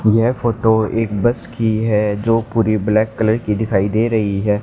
यह फोटो एक बस की है जो पूरी ब्लैक कलर की दिखाई दे रही है।